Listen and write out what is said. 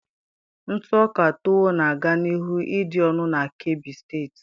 Ntụ ọka tuwo na aga n'ihu ịdị ọnụ na kebbi State